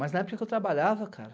Mas na época que eu trabalhava, cara...